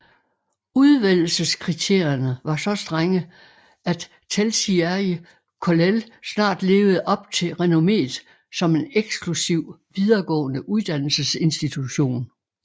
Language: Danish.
Udvælgelseskriterierne var så strenge at Telšiai Kollel snart levede op til renommeet som en eksklusiv videregående uddannelsesinstitution